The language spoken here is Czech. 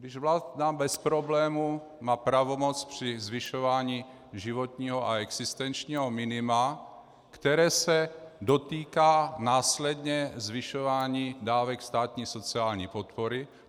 Když vláda bez problému má pravomoc při zvyšování životního a existenčního minima, které se dotýká následně zvyšování dávek státní sociální podpory.